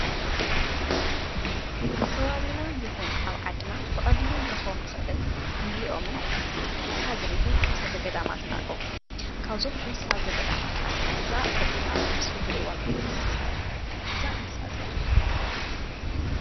ኣብ ከባቢና ይኹን ኣብ ዓድና ብቐሊሉ ንረኽቦም ንኽእልን ንሪኦምን እንስሳ ዘቤትን እንስሳ ዘገዳማትን ኣለው፡፡ ካብዞም እንስሳ ዘገዳማት ሓደ እዛ ቀፂላ ኣብዚ ምስሊ ትሪእዋ እንስሳ እያ፡፡ እዛ እንስሳ መን ትባሃል?